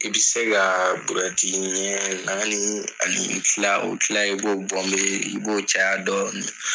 I bi se ka burɛti ɲɛ naani ani kila . O kila i b'o bɔnbe i b'o caya dɔɔni.